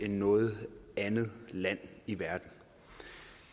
end noget andet land i verden